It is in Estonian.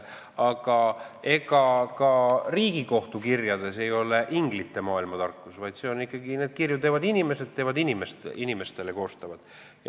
Aga ega ka Riigikohtu kirjades ei ole inglite maailma tarkus, vaid neid kirju koostavad ikkagi inimesed inimestele.